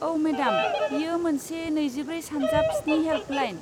औ, मेडाम, बेयो मोनसे नैजिब्रै सानजाब स्नि हेल्पलाइन।